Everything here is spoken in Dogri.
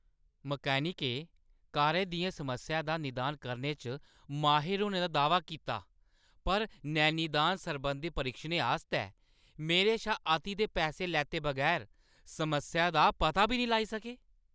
मैकेनिकें कारा दियें समस्याएं दा निदान करने च माहिर होने दा दाह्‌वा कीता पर 'नैनिदान सरबंधी परीक्षणें' आस्तै मेरे शा अति दे पैसे लैते बगैर समस्या दा पता बी नेईं लाई सके?